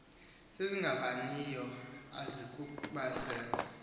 ezingavaniyo azinakuba zezo